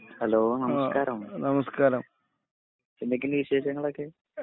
hello നമസ്കാരം എന്തൊക്കെണ്ട് വിശേഷങ്ങളൊക്കെ